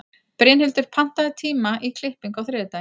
Brynhildur, pantaðu tíma í klippingu á þriðjudaginn.